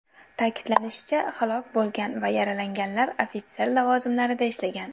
Ta’kidlanishicha, halok bo‘lgan va yaralanganlar ofitser lavozimlarida ishlagan.